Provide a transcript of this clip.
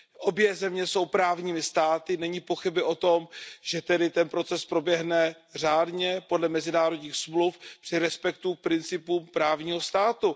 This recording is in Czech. Obě země jsou právními státy, není pochyby o tom, že tedy ten proces proběhne řádně, podle mezinárodních smluv při respektu principu právního státu.